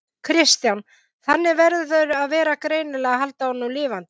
Kristján: Þannig að það verður greinilega að halda honum lifandi?